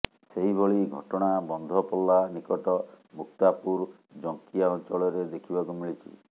ସେହିଭଳି ଘଟଣା ବନ୍ଧପଲ୍ଲା ନିକଟ ମୁକ୍ତାପୁର ଜଙ୍କିଆ ଅଂଚଳରେ ଦେଖିବାକୁ ମିଳିଛି